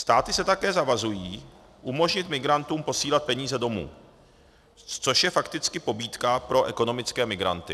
Státy se také zavazují umožnit migrantům posílat peníze domů, což je fakticky pobídka pro ekonomické migranty.